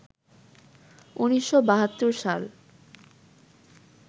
১৯৭২ সাল